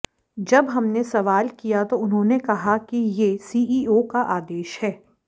जब हमने सवाल किया तो उन्होंने कहा कि ये सीईओ का आदेश है